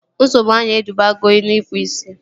Nsogbu anya edubago n'ikpu ị̀sị̀